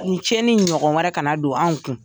Nin cɛnni in ɲɔgɔn wɛrɛ kana don anw kun.